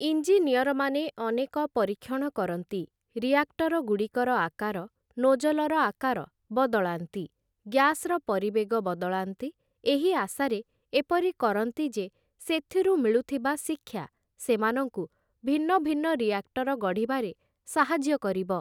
ଇଞ୍ଜିନିୟରମାନେ ଅନେକ ପରୀକ୍ଷଣ କରନ୍ତି, ରିଆକ୍ଟରଗୁଡ଼ିକର ଆକାର, ନୋଜଲର ଆକାର ବଦଳାନ୍ତି, ଗ୍ୟାସ୍‌ର ପରିବେଗ ବଦଳାନ୍ତି ଏହି ଆଶାରେ ଏପରି କରନ୍ତି, ଯେ ସେଥିରୁ ମିଳୁଥିବା ଶିକ୍ଷା ସେମାନଙ୍କୁ ଭିନ୍ନଭିନ୍ନ ରିଆକ୍ଟର ଗଢ଼ିବାରେ ସାହାଯ୍ୟ କରିବ ।